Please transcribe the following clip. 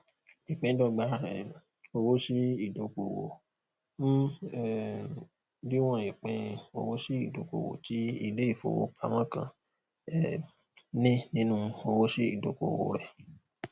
ìpíndọgba um owósíìdókòwò ń um díwọn ìpín owósíìdókòwò tí iléìfowópamọ kan um ní nínú owósíìdókòwò rẹ